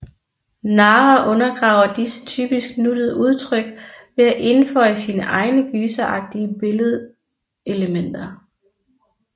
Nara undergraver disse typisk nuttede udtryk ved at indføje sine egne gyseragtige billedelementer